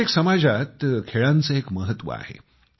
प्रत्येक समाजात खेळांचं एक महत्व आहे